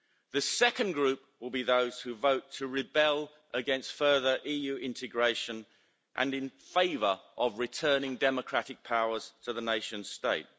The second group will be those who vote to rebel against further EU integration and in favour of returning democratic powers to the nation state.